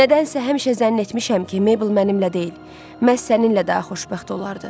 Nədənsə həmişə zənn etmişəm ki, Meybel mənimlə deyil, məhz səninlə daha xoşbəxt olardı.